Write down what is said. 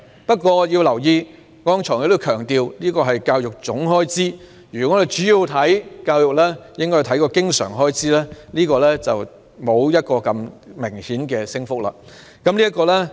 不過，我剛才亦強調，這是教育總開支，我們應着重教育方面的經常開支，但有關的升幅沒有那麼明顯。